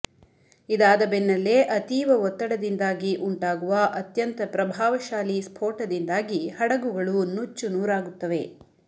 ಇದಾದ ಬೆನ್ನಲ್ಲೇ ಅತೀವ ಒತ್ತಡದಿಂದಾಗಿ ಉಂಟಾಗುವ ಅತ್ಯಂತ ಪ್ರಭಾವಶಾಲಿ ಸ್ಫೋಟದಿಂದಾಗಿ ಹಡಗುಗಳು ನೂಚ್ಚು ನೂರಾಗುತ್ತದೆ